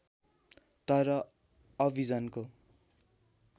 तर अभिजनको